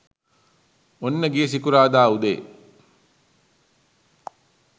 ඔන්න ගිය සිකුරාදා උදේ